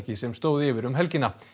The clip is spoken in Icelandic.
sem stóð yfir um helgina